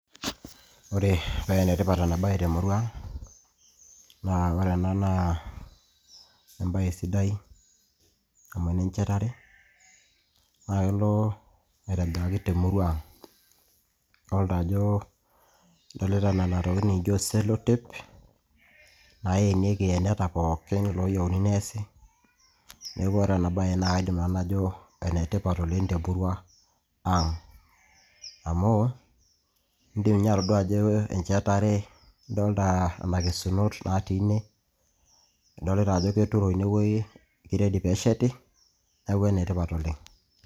ore penetipat ena baye temurua ang naa kore ena naa embaye sidai amu enenchetare naa kelo aitobiraki temurua ang idolita ajo, idolita nena tokitin nikijo sellotape naenieki iyeneta pookin loyieu neesi neeku ore ena baye naa kaidim nanu najo enetipat oleng temurua ang amu indim ninye atodua ajo enchetare idolta nana kesunot natii ine idlita ajo keturo inewueji ki ready pesheti neeku enetipat oleng.